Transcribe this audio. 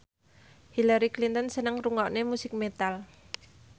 Hillary Clinton seneng ngrungokne musik metal